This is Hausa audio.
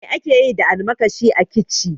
Me akeyi da almakashi a kici?